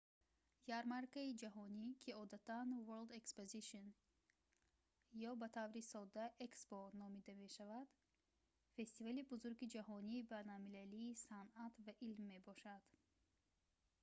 ярмаркаи ҷаҳонӣ ки одатан world exposition ё ба таври сода expo номида мешавад фестивали бузурги ҷаҳонии байналмилалии санъат ва илм мебошад